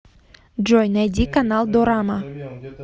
джой найди канал дорама